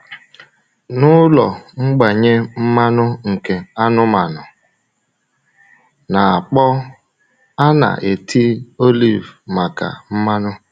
Na ụlọ mgbanye mmanụ nke anụmanụ na-akpọ, a na-eti oliv maka mmanụ.